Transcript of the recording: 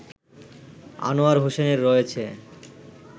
আনোয়ার হোসেনের রয়েছে